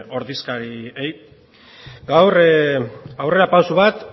ordezkariei gaur aurrera pausu bat